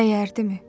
Dəyərdimi?